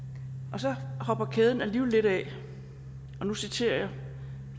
og så hopper kæden alligevel lidt af og nu citerer jeg